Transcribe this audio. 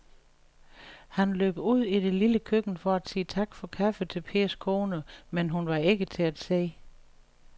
Han løb ud i det lille køkken for at sige tak for kaffe til Pers kone, men hun var ikke til at se.